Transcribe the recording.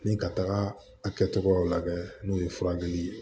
Ni ka taga a kɛcogo la n'o ye furakɛli ye